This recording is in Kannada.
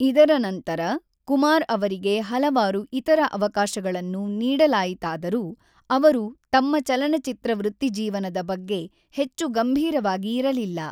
ಇದರ ನಂತರ, ಕುಮಾರ್ ಅವರಿಗೆ ಹಲವಾರು ಇತರ ಅವಕಾಶಗಳನ್ನು ನೀಡಲಾಯಿತಾದರೂ, ಅವರು ತಮ್ಮ ಚಲನಚಿತ್ರ ವೃತ್ತಿಜೀವನದ ಬಗ್ಗೆ ಹೆಚ್ಚು ಗಂಭೀರವಾಗಿ ಇರಲಿಲ್ಲ.